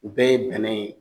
U bɛɛ ye bɛnɛ ye